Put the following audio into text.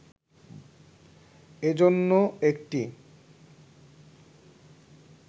এজন্য একটি